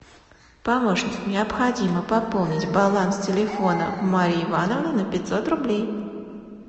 помощник необходимо пополнить баланс телефона марьи ивановны на пятьсот рублей